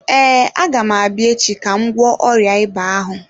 Ee, agam abịa echi ka m gwọọ ọrịa ịba ahụ.